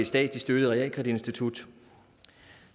statsligt støttet realkreditinstitut